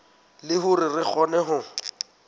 le hore re kgone ho